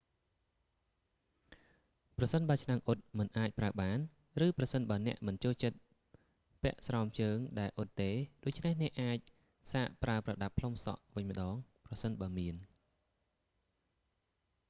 ប្រសិនបើឆ្នាំងអ៊ុតមិនអាចប្រើបាន ឬប្រសិនបើអ្នកមិនចូលចិត្តពាក់ស្រោមជើងដែលអ៊ុតទេ ដូច្នេះអ្នកអាចសាកប្រើប្រដាប់ផ្លុំសក់វិញម្តង ប្រសិនបើមាន